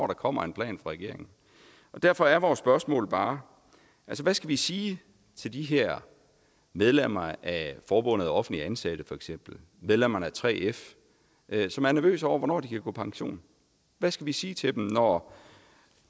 der kommer en plan fra regeringen derfor er vores spørgsmål bare hvad skal vi sige til de her medlemmer af for forbundet af offentligt ansatte medlemmerne af 3f som er nervøse over hvornår de kan gå på pension hvad skal vi sige til dem når